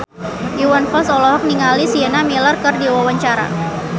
Iwan Fals olohok ningali Sienna Miller keur diwawancara